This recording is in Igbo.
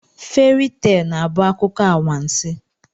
Feri tel na-abụ akụkọ anwansi.